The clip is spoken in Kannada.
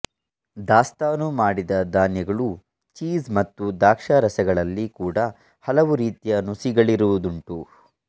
ದಾಸ್ತಾನು ಮಾಡಿದ ಧಾನ್ಯಗಳೂ ಚೀಸ್ ಮತ್ತು ದ್ರಾಕ್ಷಾರಸಗಳಲ್ಲಿ ಕೂಡ ಹಲವು ರೀತಿಯ ನುಸಿಗಳಿರುವುದುಂಟು